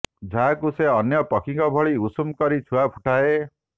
ଯାହାକୁ ସେ ଅନ୍ୟ ପକ୍ଷୀଙ୍କ ଭଳି ଉଷୁମ କରି ଛୁଆ ଫୁଟାଏ